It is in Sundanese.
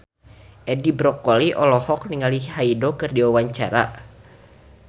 Edi Brokoli olohok ningali Hyde keur diwawancara